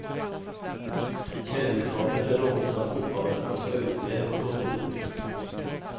Kändisskapet är något han fortfarande får stå ut med på gott och ont.